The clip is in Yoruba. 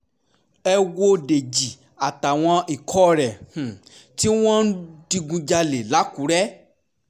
ẹ wo dèjì àtàwọn ikọ̀ rẹ̀ um tí wọ́n ń digunjalè lákùrẹ́ um